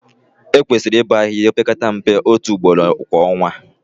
Ekwesịrị ịbọ ahịhịa opekata mpe otu ugboro kwa ọnwa